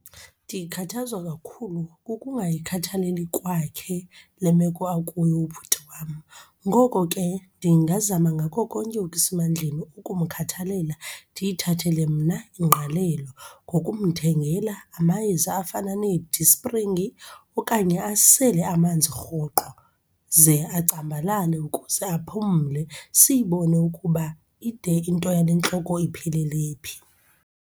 Ndikhathazwa kakhulu kukungayikhathaleli kwakhe le meko akuyo ubhuti wam. Ngoko ke ndingazama ngako konke okusemandleni ukumkhathalela, ndiyithathele mna ingqalelo ngokumthengela amayeza afana nee-Disprin okanye asele amanzi rhoqo ze acambalale ukuze aphumle. Siyibone ukuba ide into yale ntloko iphelele phi.